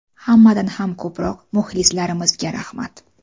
Hammadan ham ko‘proq muxlislarimizga rahmat.